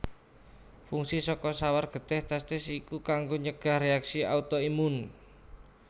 Fungsi saka sawar getih testis iku kanggo nyegah réaksi auto imun